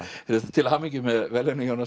til hamingju með verðlaunin Jónas